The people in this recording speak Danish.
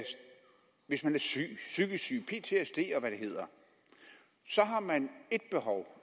hvis man er syg psykisk syg lider af ptsd og hvad det hedder så har man ét behov